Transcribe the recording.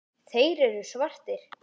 Þeir eru svartir.